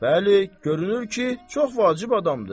Bəli, görünür ki, çox vacib adamdır.